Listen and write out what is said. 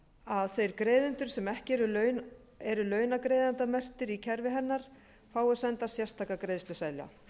að þeir greiðendur sem ekki eru launagreiðendamerktir í kerfi hennar fái senda sérstaka greiðsluseðla